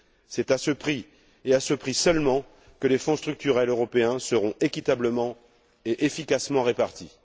C'est à ce prix, et à ce prix seulement, que les fonds structurels européens seront équitablement et efficacement répartis.